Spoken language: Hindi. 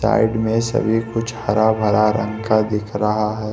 साइड में सभी कुछ हरा भरा रंग का दिख रहा है।